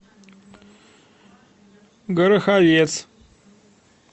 гороховец